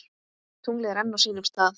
Tunglið enn á sínum stað.